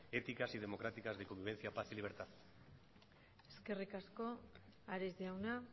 éticas y democráticas de convivencia paz y libertad eskerrik asko ares jauna